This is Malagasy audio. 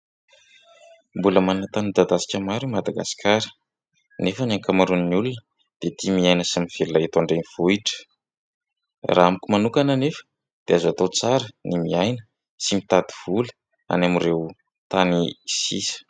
Mbola manan-tany midadasika maro i Madagasikara nefa ny ankamaroan'ny olona dia tia miaina sy mivelona eto andrenivohitra. Raha amiko manokana anefa dia azo atao tsara ny miaina sy mitady vola any amin'ireo tany sisa.